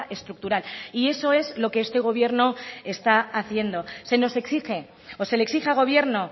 estructural y eso es lo que este gobierno está haciendo se nos exige o se le exige al gobierno